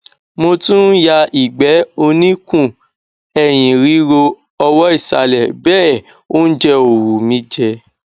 mo tún ń ya ìgbẹ oníkun ẹyìn ríro ọwọ ìsàlẹ bẹẹ óúnjẹ ò wù mí jẹ